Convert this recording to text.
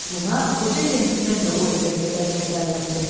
Buna qoca centlmen də Oliver qədər kədərləndi.